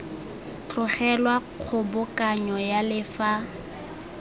tlogelwa kgobokanyo ya le fa